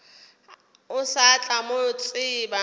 o sa tla mo tseba